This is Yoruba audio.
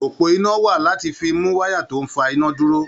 Òpó iná wà láti fi mú wáyà tó ń fa iná dúró.